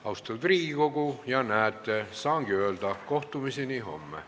Austatud Riigikogu, näete, saangi öelda, et kohtumiseni homme.